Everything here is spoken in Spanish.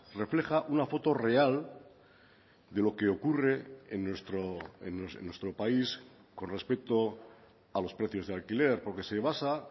refleja una foto real de lo que ocurre en nuestro país con respecto a los precios de alquiler porque se basa